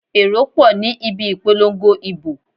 Èrò pọ̀ ní ibi ìpolongo ìbò.